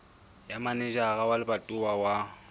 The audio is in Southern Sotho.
ya manejara wa lebatowa wa